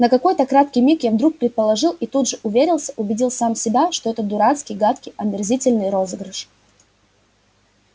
на какой-то краткий миг я вдруг предположил и тут же уверился убедил сам себя что это дурацкий гадкий омерзительный розыгрыш